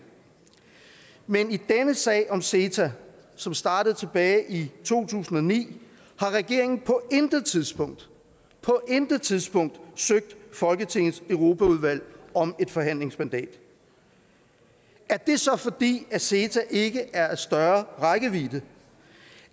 men i denne sag om ceta som startede tilbage i to tusind og ni har regeringen på intet tidspunkt på intet tidspunkt søgt folketingets europaudvalg om et forhandlingsmandat er det så fordi ceta ikke er af større rækkevidde end